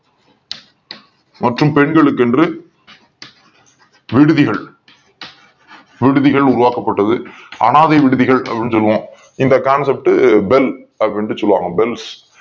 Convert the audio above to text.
மற்றும் பெண்களுக் கென்று விடுதிகள் விடுதி களை உருவாக்கப் பட்டது அனாதை விடுதிகள் அப்படின்னு சொல்லு வோம் இந்த concept Bell அப்படின்னு சொல்லு வாங்க Bell